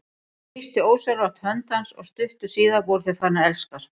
Hún þrýsti ósjálfrátt hönd hans og stuttu síðar voru þau farin að elskast.